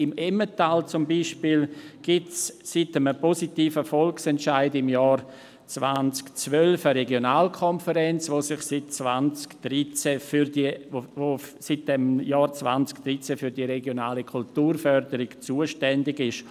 Im Emmental zum Beispiel gibt es seit einem positiven Volksentscheid im Jahr 2012 eine Regionalkonferenz, die seit dem Jahr 2013 für die regionale Kulturförderung zuständig ist.